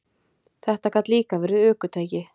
Þetta gat líka verið ökutæki.